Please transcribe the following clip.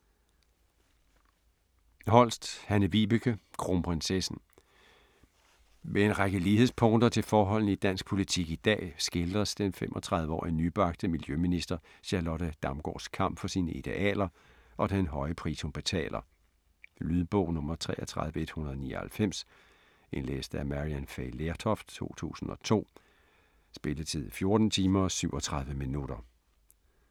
Holst, Hanne-Vibeke: Kronprinsessen Med en række lighedspunkter til forholdene i dansk politik i dag, skildres den 35-årige nybagte miljøminister Charlotte Damgaards kamp for sine idealer, og den høje pris hun betaler. Lydbog 33199 Indlæst af Maryann Fay Lertoft, 2002. Spilletid: 14 timer, 37 minutter.